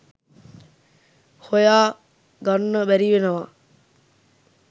හොයා ගන්න බැරිවෙනවා.